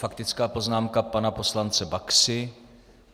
Faktická poznámka pana poslance Baxy.